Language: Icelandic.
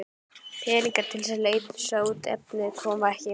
Peningarnir til að leysa út efnið koma ekki.